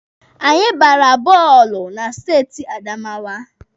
Anyị gbara bọọlụ na steeti Adamawa.